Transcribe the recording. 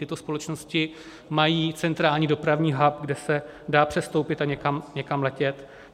Tyto společnosti mají centrální dopravní hub, kde se dá přestoupit a někam letět.